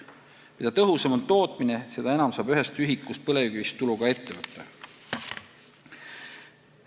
Mida tõhusam on tootmine, seda enam saab ühest ühikust põlevkivist tulu ka ettevõte.